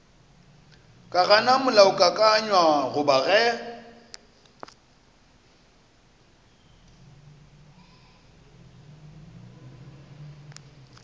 ka gana molaokakanywa goba ge